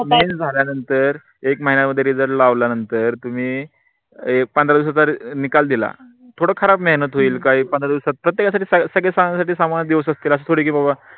झाल्या नंतर एक महिन्या मध्ये result लावल्या नंतर तुम्ही पंधरा दिवसाचा निकाल दिला थोड फार मेहनत होईल काही पंधरा दिवसात प्रत्येकासाठी सामान्य दिवस असतील अस